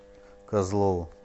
козлову